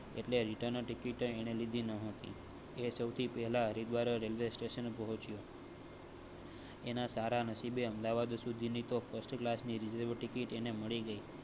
એટલે return ticket લીધી ન હતી. એ સૌથી પહેલા હરિદ્વાર રેલ્વે સ્ટેશન પહોચ્યો. એના સારા નસીબે અમદાવાદ સુધી તો first ક્લાસ ની રેલવે ટિકિટ મળી ગઈ.